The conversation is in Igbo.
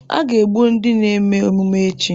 A ga-egbu ndị na-eme emume echi.